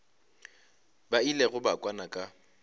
ba ilego ba kwana ka